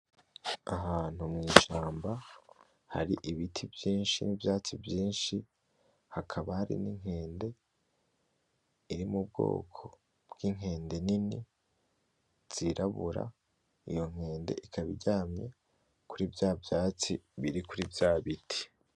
Ahantu mw'ishamba hari ibiti vyinshi n'ivyatsi vyinshi, hakaba hari n'inkende iri mu bwoko bw'inkende nini zirabura, iyo nkende ikaba iryamye kuri vya vyatsi biri kuri vya biti.